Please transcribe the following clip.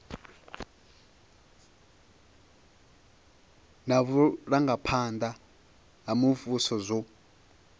na vhurangaphanda ha muvhuso zwo